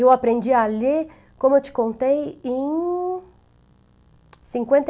Eu aprendi a ler, como eu te contei, em cinquenta